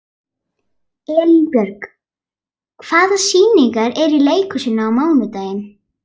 Elínbjörg, hvaða sýningar eru í leikhúsinu á mánudaginn?